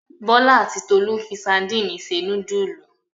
Bọ́lá àti Tolú fi sadínì se núdúlù.